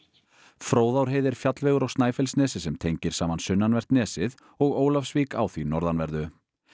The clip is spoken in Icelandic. Fróðárheiði er fjallvegur á Snæfellsnesi sem tengir saman sunnanvert nesið og Ólafsvík á því norðanverðu